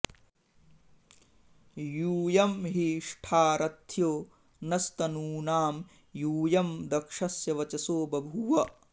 यू॒यं हि ष्ठा र॒थ्यो॑ नस्त॒नूनां॑ यू॒यं दक्ष॑स्य॒ वच॑सो बभू॒व